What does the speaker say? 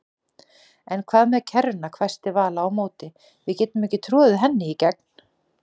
En hvað með kerruna hvæsti Vala á móti, við getum ekki troðið henni í gegn